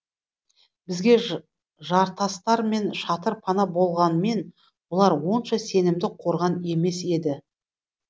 бізге жартастар мен шатыр пана болғанмен бұлар онша сенімді қорған емес еді